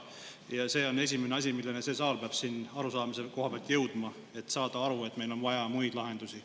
Ja see on esimene asi, millele see saal peab siin arusaamise koha pealt jõudma, et saada aru, et meil on vaja muid lahendusi.